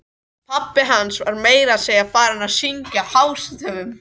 Pabbi hans var meira að segja farinn að syngja hástöfum!